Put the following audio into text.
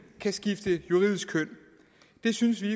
kan skifte juridisk køn det synes vi